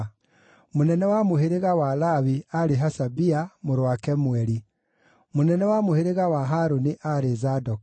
mũnene wa mũhĩrĩga wa Lawi aarĩ Hashabia mũrũ wa Kemueli; mũnene wa mũhĩrĩga wa Harũni aarĩ Zadoku;